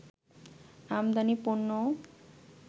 আমাদানি পণ্যও